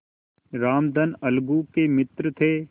रामधन अलगू के मित्र थे